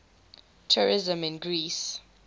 tourism in greece